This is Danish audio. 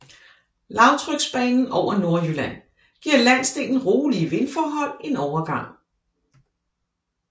Lavtryksbanen over Nordjylland giver landsdelen rolige vindforhold en overgang